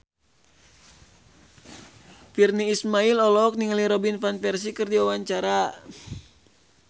Virnie Ismail olohok ningali Robin Van Persie keur diwawancara